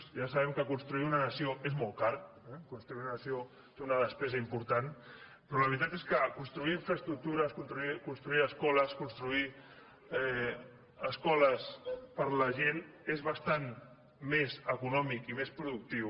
ja sabem que construir una nació és molt car eh construir una nació té una despesa important però la veritat és que construir infraestructures construir escoles construir escoles per a la gent és bastant més econòmic i més productiu